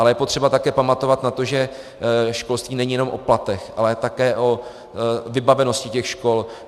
Ale je potřeba také pamatovat na to, že školství není jenom o platech, ale také o vybavenosti těch škol.